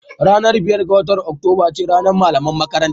Ranar biyar ga watan Oktoba ce ranar Malaman Makaranta